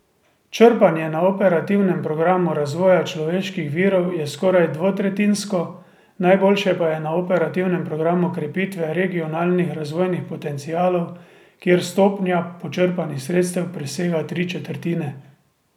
Črpanje na operativnem programu razvoja človeških virov je skoraj dvotretjinsko, najboljše pa je na operativnem programu krepitve regionalnih razvojnih potencialov, kjer stopnja počrpanih sredstev presega tri četrtine.